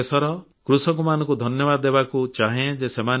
ମୁଁ ଦେଶର କୃଷକ ଭାଇ ଭଉଣୀମାନଙ୍କୁ ବିଶେଷ ଧନ୍ୟବାଦ ଦେବାକୁ ଚାହେଁ ଦେଉଛି